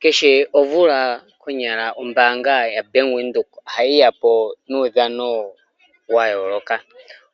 Kehe omvula konyala ombaanga yaBank Windhoek ohayiya po nuudhano wayooloka.